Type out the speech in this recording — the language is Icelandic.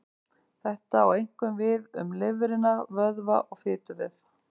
Þetta á einkum við um lifrina, vöðva og fituvef.